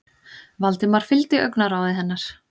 Valdimar fylgdi augnaráði hennar.